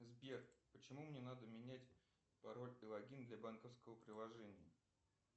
сбер почему мне надо менять пароль и логин для банковского приложения